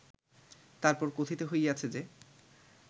তার পর কথিত হইয়াছে যে